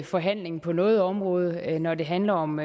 forhandling på noget område når det handler om